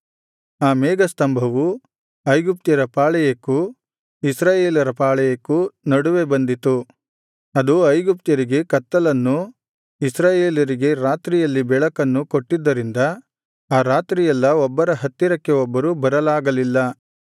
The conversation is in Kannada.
ಆ ಮೇಘಸ್ತಂಭವು ಐಗುಪ್ತ್ಯರ ಪಾಳೆಯಕ್ಕೂ ಇಸ್ರಾಯೇಲರ ಪಾಳೆಯಕ್ಕೂ ನಡುವೆ ಬಂದಿತು ಅದು ಐಗುಪ್ತ್ಯರಿಗೆ ಕತ್ತಲನ್ನೂ ಇಸ್ರಾಯೇಲರಿಗೆ ರಾತ್ರಿಯಲ್ಲಿ ಬೆಳಕನ್ನು ಕೊಟ್ಟಿದ್ದರಿಂದ ಆ ರಾತ್ರಿಯೆಲ್ಲಾ ಒಬ್ಬರ ಹತ್ತಿರಕ್ಕೆ ಒಬ್ಬರು ಬರಲಾಗಲಿಲ್ಲ